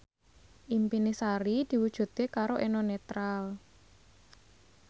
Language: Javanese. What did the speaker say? impine Sari diwujudke karo Eno Netral